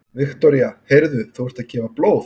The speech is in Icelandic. Viktoría: Heyrðu, og þú ert að gefa blóð?